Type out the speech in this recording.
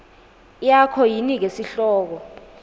yakho yinike sihloko